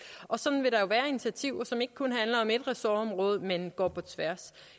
og sådan vil der være initiativer som ikke kun handler om et ressortområde men går på tværs